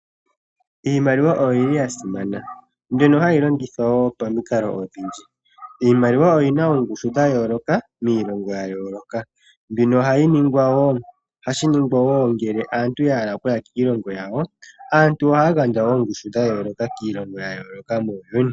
Iimaliwa oyili yasimana mbino hayi longithwa pamikalo odhi ndji. Iimaliwa oyina oongushu dhayoloka miilongo yayoloka . Mbino ohayi ningwa, ohashi ningwa ngele aantu yahala okuya kiilongo yawo, aantu ohaagandja oongushu dhayoloka kiilongo yayoloka muuyuni.